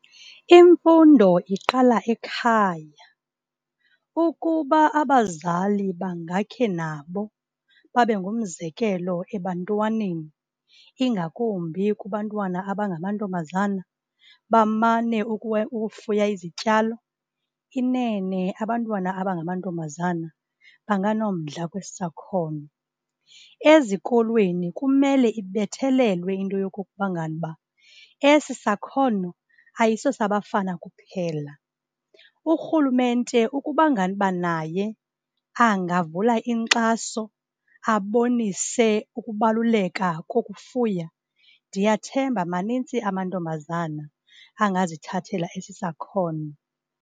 Imfundo iqala ekhaya. Ukuba abazali bangakhe nabo babe ngumzekelo ebantwaneni, ingakumbi kubantwana abangamantombazana, bamane ukufuya izityalo, inene, abantwana abangamantombazana banganomdla kwesi sakhono. Ezikolweni kumele ibethelelwe into yokuba ngaba esi sakhono ayisosabafana kuphela. Urhulumente, ukuba ngaba naye angavula inkxaso, abonise ukubaluleka kokufuya, ndiyathemba, maninzi amantombazana angazithathela esi sakhono.